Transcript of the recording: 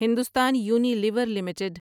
Hindustan Unilever limited